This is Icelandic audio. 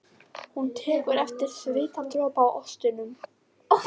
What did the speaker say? Hún tekur eftir svitadropa í óstinni.